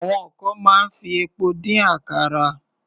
Àwọn kan máa ń fi epo dín àkàrà.